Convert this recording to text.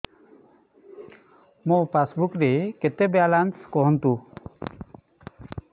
ମୋ ପାସବୁକ୍ ରେ କେତେ ବାଲାନ୍ସ କୁହନ୍ତୁ